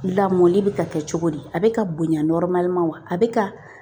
Lamɔni bɛ ka kɛ cogo di a bɛ ka bonya wa a bɛ ka